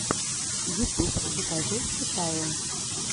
ютуб закажи в китае